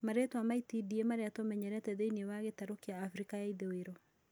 Marĩtwa ma itindiĩ marĩa tũmenyerete thĩinĩ wa gĩtaro kĩa Afrika ya ithũĩro